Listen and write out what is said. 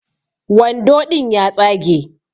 Wando ɗin ya tsage